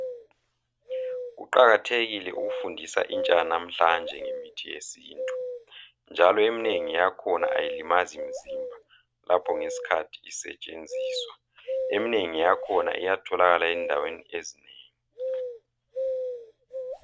Kuqakathekile ukufundisa intsha yanamhlanje ngemithi yesintu njalo eminengi yakhona ayilimazi mzimba lapho ngesikhathi isetshenziswa, eminengi yakhona iyatholakala endaweni ezinengi.